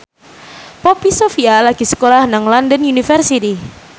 Poppy Sovia lagi sekolah nang London University